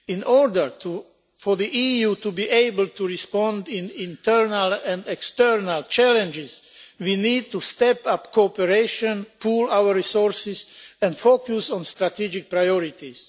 In order for the EU to be able to respond in internal and external challenges, we need to step up cooperation, pool our resources and focus on strategy priorities.